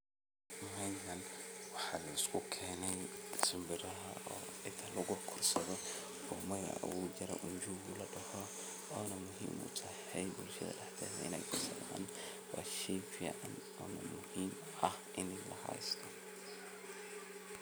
Meeshan waxaa liskukeeney shimbiraha oo cida lagukorsadho oo magaca uu jiro njugu ladoho oona muhiim utahay bulshada daxdeedha in ey kusocdan waa shey fican muhiim uah in la haysto.